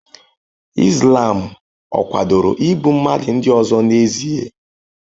Islam ọ̀ kwadoro igbu mmadụ ndị ọzọ n'ezie?